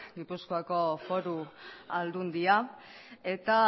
gipuzkoako foru aldundia eta